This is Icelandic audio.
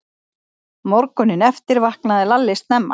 Morguninn eftir vaknaði Lalli snemma.